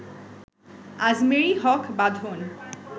Ajmeri Haque Badhon